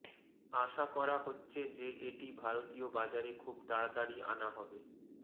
আশা করা হচ্ছে যে এটি ভারতীয় বাজারে খুব তাড়াতাড়ি আনা হবে